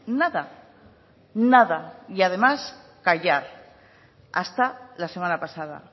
nada nada y además callar hasta la semana pasada